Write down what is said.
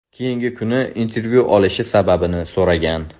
Keyingi kuni intervyu olishi sababini so‘ragan.